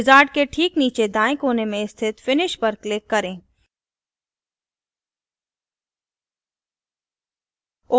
wizard के ठीक नीचे दाएँ कोने में स्थित finish पर click करें